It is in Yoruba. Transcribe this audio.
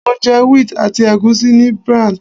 Mo jẹ wheat àti ègúsí ní Brent.